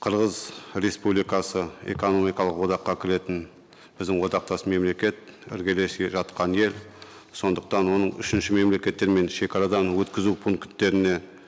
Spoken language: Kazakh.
қырғыз республикасы экономикалық одаққа кіретін біздің одақтас мемлекет іргелесе жатқан ел сондықтан оның үшінші мемлекеттермен шекарадан өткізу пункттеріне